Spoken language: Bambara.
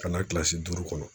Ka na kilasi duuru kɔnɔ